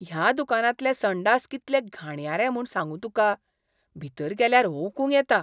ह्या दुकानांतले संडास कितले घाणयारे म्हूण सांगू तुका, भितर गेल्यार ओकूंक येता.